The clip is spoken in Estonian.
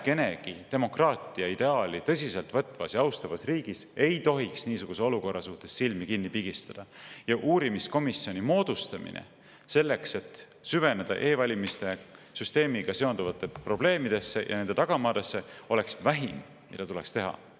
Vähekenegi demokraatia ideaali tõsiselt võtvas ja austavas riigis ei tohiks niisuguse olukorra ees silmi kinni pigistada ja uurimiskomisjoni moodustamine selleks, et süveneda e-valimiste süsteemiga seonduvatesse probleemidesse ja nende tagamaadesse, oleks vähim, mida tuleks teha.